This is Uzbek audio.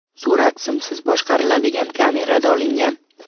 Surat simsiz boshqariladigan kamerada olingan.